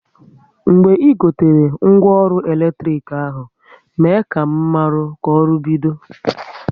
Mgbe ị gotere ngwa ọrụ eletrik ahụ, mee ka m maru ka ọrụ bido